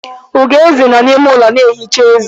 Ugoeze nọ n'ime ụlọ na-echi ezé.